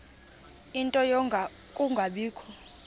ie nto yokungabikho